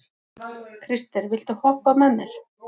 Krister, viltu hoppa með mér?